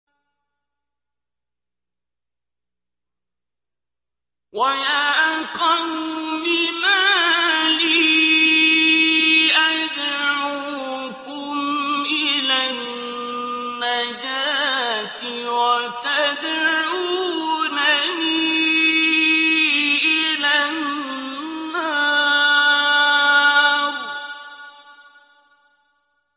۞ وَيَا قَوْمِ مَا لِي أَدْعُوكُمْ إِلَى النَّجَاةِ وَتَدْعُونَنِي إِلَى النَّارِ